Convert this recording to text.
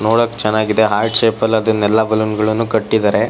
ನೋಡಕ್ ಚೆನ್ನಾಗಿಯೇ heart shape ಅದನ್ನೆಲ್ಲ ಬಲೂನ್ಗಳನ್ನು ಕಟ್ಟಿದ್ದಾರೆ.